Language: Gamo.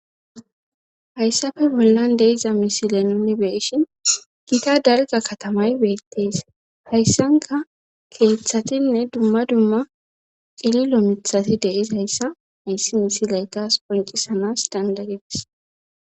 Hayssafe bollan deiza misile nuni beshin gita dalga katamay beettees hayssanka keeththatinne dumma dumma qililo mithati deis hayssa ayssi misiley kas poncisanas dandagedis